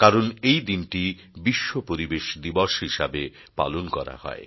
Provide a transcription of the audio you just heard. কারণ এই দিনটি বিশ্ব পরিবেশ দিবস হিসাবে পালন করা হয়